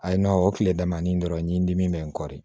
A ye o tile damadɔ ni dɔrɔn ɲimi dimi bɛ n kɔ de